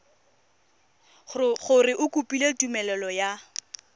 gore o kopile tumelelo ya